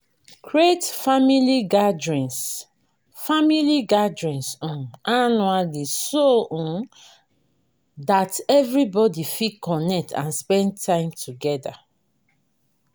create family gatherings family gatherings um annually so um that everybody fit connect and spend time together